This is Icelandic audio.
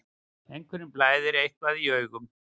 Einhverjum blæðir eitthvað í augum